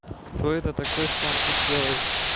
кто это такой что он тут делает